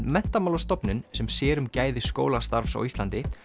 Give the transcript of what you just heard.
Menntamálastofnun sem sér um gæði skólastarfs á Íslandi